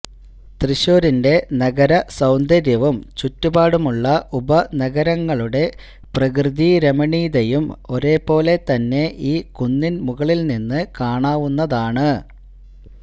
തൃശ്ശൂരിന്റെ നഗരസൌന്ദര്യവും ചുറ്റുപാടുമുള്ള ഉപനഗരങ്ങളുടെ പ്രകൃതിരമണീയതയും ഒരേപോലെത്തന്നെ ഈ കുന്നിൻ മുകളിൽ നിന്ന് കാണാവുന്നതാണ്